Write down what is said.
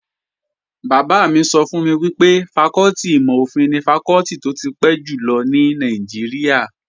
Bàbá mi sọ fún mi pé fakọ́tì ìmò-òfin ni fakọ́tì tó ti pẹ́ jùlọ ní Nàìjíríà